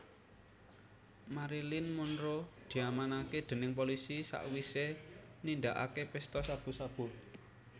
Marilyn Monroe diamanke dening polisi sakwise nindakake pesta sabu sabu